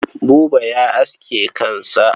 Buba ya aske kansa kuwa?